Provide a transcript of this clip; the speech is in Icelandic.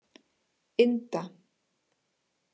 Inda